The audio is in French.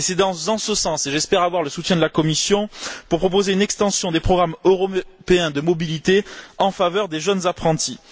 Et c'est en sens que j'espère avoir le soutien de la Commission pour proposer une extension des programmes européens de mobilité en faveur des jeunes apprentis.